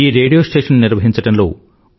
ఈ radio station ను నిర్వహించడంలో